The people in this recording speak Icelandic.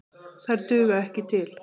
Þær duga ekki til.